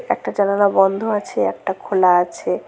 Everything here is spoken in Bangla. একটা জানালা বন্ধ আছে একটা খোলা আছে।